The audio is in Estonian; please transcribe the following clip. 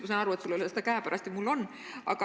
Ma saan aru, et sul ei ole seda siin käepärast, aga mul on.